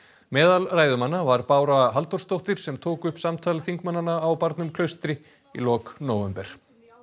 meðal ræðumanna var Bára Halldórsdóttir sem tók upp samtal þingmannana á barnum Klaustri í lok nóvember